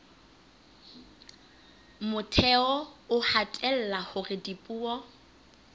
motheo o hatella hore dipuo